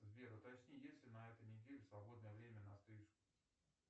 сбер уточни есть ли на этой неделе свободное время на стрижку